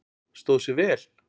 Stóð sig vel?